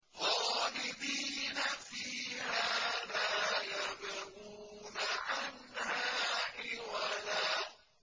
خَالِدِينَ فِيهَا لَا يَبْغُونَ عَنْهَا حِوَلًا